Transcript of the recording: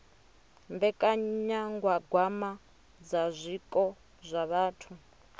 mbekanyagwama dza zwiko zwa vhathu